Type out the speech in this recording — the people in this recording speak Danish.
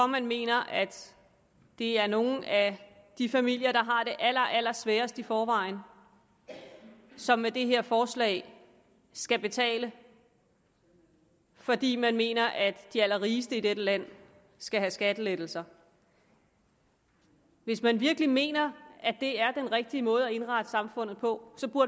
man mener at det er nogle af de familier der har det allerallersværest i forvejen som med det her forslag skal betale fordi man mener at de allerrigeste i dette land skal have skattelettelser hvis man virkelig mener at det er den rigtige måde at indrette samfundet på